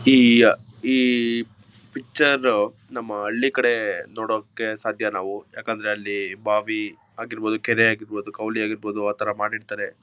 ಈ ಈ ಪಿಕ್ಚರ್ ನಮ್ಮ ಹಳ್ಳಿ ಕಡೆ ನೋಡೋಕೆ ಸಾಧ್ಯ ನಾವು ಯಾಕಂದ್ರೆ ಅಲ್ಲಿ ಭಾವಿ ಆಗಿರ್ಬಹುದು ಕೆರೆ ಆಗಿರ್ಬಹುದು ಕಾವಲಿ ಆಗಿರ್ಬಹುದು ಆತರ ಮಾಡಿರ್ತಾರೆ.